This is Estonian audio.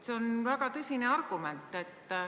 " See on väga tõsine argument.